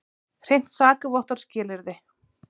Hreint sakavottorð skilyrði.